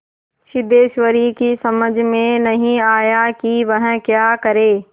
सिद्धेश्वरी की समझ में नहीं आया कि वह क्या करे